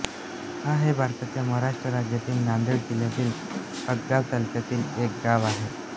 लोहा हे भारताच्या महाराष्ट्र राज्यातील नांदेड जिल्ह्यातील हदगाव तालुक्यातील एक गाव आहे